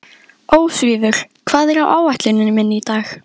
Ósvífur, hvað er á áætluninni minni í dag?